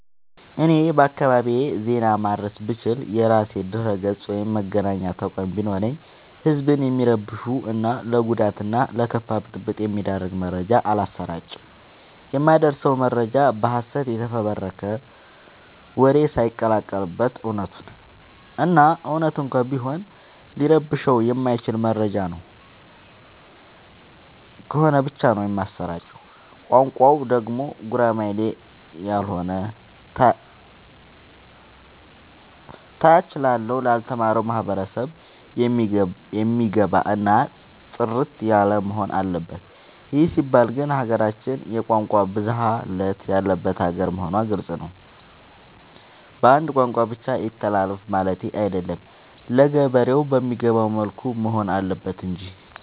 እኔ በአካባቢዬ ዜና ማድረስ ብችል። የራሴ ድረገፅ ወይም መገናኛ ተቋም ቢኖረኝ ህዝብን የሚረብሹ እና ለጉዳት እና ለከፋ ብጥብ የሚዳርግ መረጃ አላሰራጭም። የማደርሰው መረጃ በሀሰት የተፈበረከ ወሬ ሳይቀላቀል በት እውነቱን እና እውነት እንኳን ቢሆን ሊረብሸው የማይችል መረጃ ነው ከሆነ ብቻ ነው የማሰራጨው። ቋንቋው ደግሞ ጉራማይሌ ያሎነ ታች ላለው ላልተማረው ማህበረሰብ የሚገባ እና ጥርት ያለወሆን አለበት ይህ ሲባል ግን ሀገራችን የቋንቋ ብዙሀለት ያለባት ሀገር መሆኗ ግልፅ ነው። በአንድ ቋንቋ ብቻ ይተላለፍ ማለቴ አይደለም ለገበሬ በሚገባው መልኩ መሆን አለበት ማለት እንጂ።